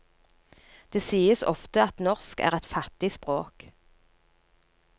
Det sies ofte at norsk er et fattig språk.